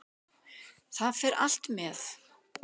Það fer allt með.